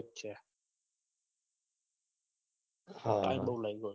થાક બહુ લાગ્યો